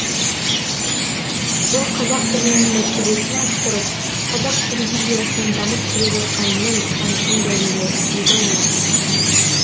бұл қазақ тілінің мәртебесін арттырып қазақ телевизиясының дамып келе жатқанының айқын дәлелі деді олар